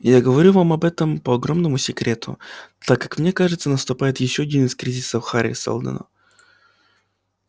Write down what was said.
я говорю вам об этом по огромному секрету так как мне кажется наступает ещё один из кризисов хари сэлдона